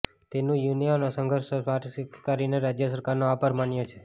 તેનું યુનિયનોએ સહર્ષ સ્વીકાર કરીને રાજ્ય સરકારનો આભાર માન્યો છે